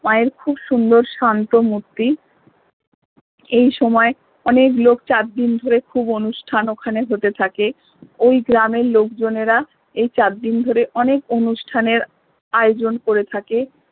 মা এর খুব সুন্দর শান্ত মূর্তি এই সময়ে অনেক লোক চারদিন ধরে খুব অনুষ্ঠান ওখানে হতে থাকে ওই গ্রামের লোকজনেরা এই চারদিন ধরে অনেক অনুষ্ঠানের আয়োজন করে থাকে